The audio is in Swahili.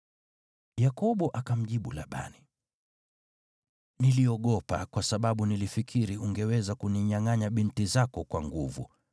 Yakobo akamjibu Labani, “Niliogopa, kwa sababu nilifikiri ungeweza kuninyangʼanya binti zako kwa nguvu.